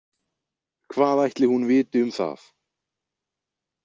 Hvað ætli hún viti um það?